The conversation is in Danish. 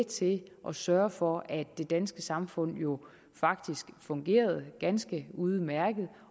til at sørge for at det danske samfund jo faktisk fungerede ganske udmærket